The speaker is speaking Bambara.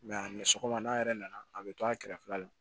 a mɛ sɔgɔma n'a yɛrɛ nana a bɛ to a kɛrɛfɛla la